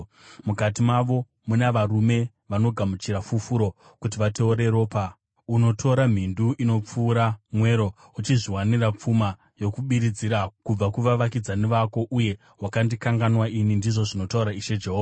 Mukati mako muna varume vanogamuchira fufuro kuti vateure ropa; unotora mhindu inopfuura mwero, uchizviwanira pfuma yokubiridzira kubva kuvavakidzani vako. Uye wakandikanganwa ini, ndizvo zvinotaura Ishe Jehovha.